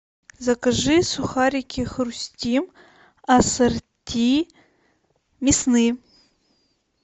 закажи сухарики хрустим ассорти мясные